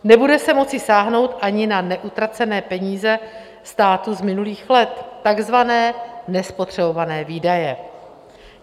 Nebude se moci sáhnout ani na neutracené peníze státu z minulých let, takzvané nespotřebované výdaje.